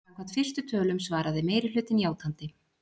Samkvæmt fyrstu tölum svaraði meirihlutinn játandi